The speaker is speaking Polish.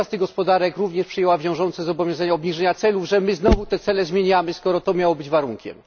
Która z tych gospodarek również przyjęła wiążące zobowiązanie obniżenia celów, że my znowu te cele zmieniamy, skoro to miało być warunkiem?